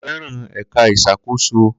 Ko fẹran ẹka iṣakoso